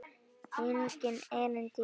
Einnig erindi í útvarp.